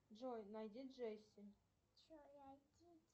джой найди джесси